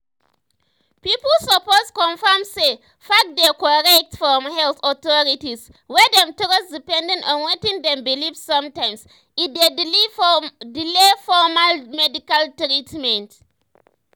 pipu suppose confirm say facts dey korrect from health authorities wey dem trust depending on wetin dem believe sometimes e dey delay formal medical treatment.